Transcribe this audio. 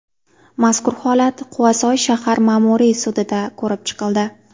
Mazkur holat Quvasoy shahar ma’muriy sudida ko‘rib chiqildi.